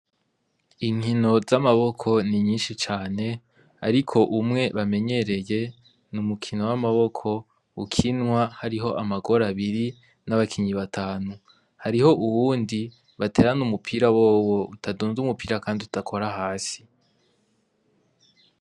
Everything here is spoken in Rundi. Inkino z'amaboko ni nyinshi cane, ariko umwe bamenyereye n'umukino w'amaboko ukinwa hariho amagor'abiri, n'abakinyi batanu, hariho uwundi baterana umupira wowo utadund'umupira, kandi udakora hasi.